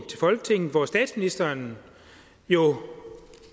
folketinget hvor statsministeren jo